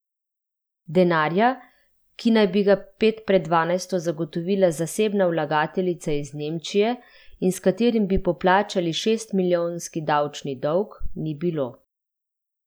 Denarja, ki naj bi ga pet pred dvanajsto zagotovila zasebna vlagateljica iz Nemčije in s katerim bi poplačali šestmilijonski davčni dolg, ni bilo.